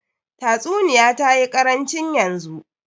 Tatsuniya tayi karancin yanzu.